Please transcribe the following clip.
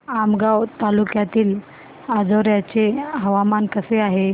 आमगाव तालुक्यातील अंजोर्याचे हवामान कसे आहे